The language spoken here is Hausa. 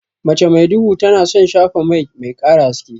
Mace mai duhu tana son shafa mai, mai ƙara haske.